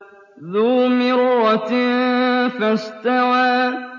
ذُو مِرَّةٍ فَاسْتَوَىٰ